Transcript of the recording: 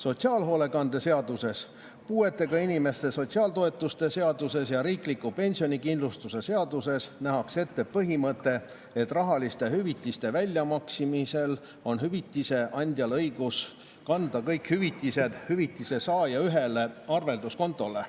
Sotsiaalhoolekande seaduses, puuetega inimeste sotsiaaltoetuste seaduses ja riikliku pensionikindlustuse seaduses nähakse ette põhimõte, et rahaliste hüvitiste väljamaksmisel on hüvitise andjal õigus kanda kõik hüvitised hüvitise saaja ühele arvelduskontole.